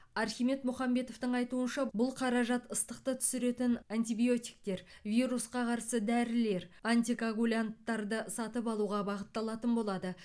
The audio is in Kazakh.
архимед мұхамбетовтің айтуынша бұл қаражат ыстықты түсіретін антибиотиктер вирусқа қарсы дәрілер антикоагулянттарды сатып алуға бағытталатын болады